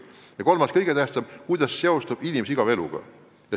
Ja kolmas, kõige tähtsam teema: kuidas seostub valla ja linna ja regiooni areng inimese igapäevaeluga.